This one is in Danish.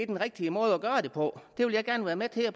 den rigtige måde at gøre det på det vil jeg gerne være med til at